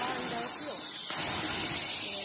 Lá ainda é pior. Né